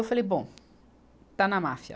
Eu falei, bom, está na máfia.